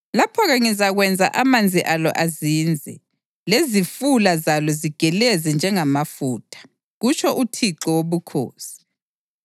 Lapho-ke ngizakwenza amanzi alo azinze lezifula zalo zigeleze njengamafutha, kutsho uThixo Wobukhosi.